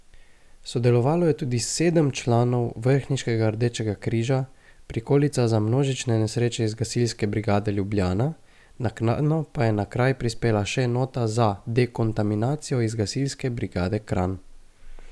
Sodelovalo je tudi sedem članov vrhniškega Rdečega križa, prikolica za množične nesreče iz Gasilske brigade Ljubljana, naknadno pa je na kraj prispela še enota za dekontaminacijo iz Gasilske brigade Kranj.